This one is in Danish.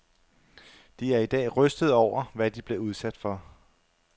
De er i dag rystede over, hvad de blev udsat for.